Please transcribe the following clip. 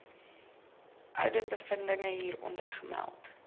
ouditbevindinge hieronder gemeld